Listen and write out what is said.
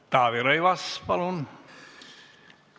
Taavi Rõivas, palun!